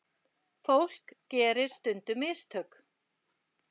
Fólk gerir stundum mistök.